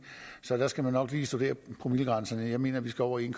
så der skal man nok lige studere promillegrænserne jeg mener at vi skal over en